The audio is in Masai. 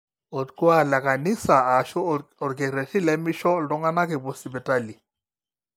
orkuaak lekanisa aashu olorkererri lemisho iltung'anak epuo sipitali